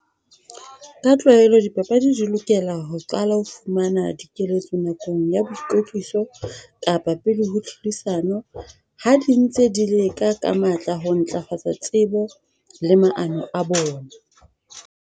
Ka tlwaelo dipapadi di lokela ho qala ho fumana dikeletso nakong ya boikwetliso, kapa pele ho tlhodisano. Ha di ntse di leka ka matla ho ntlafatsa tsebo le maano a bona.